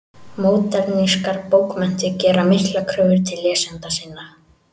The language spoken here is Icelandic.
Módernískar bókmenntir gera miklar kröfur til lesenda sinna.